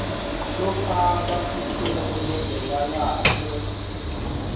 lofaka sicelo bekalahlwe